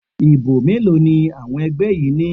Ìbò mélòó ni àwọn ẹgbẹ́ yín ní?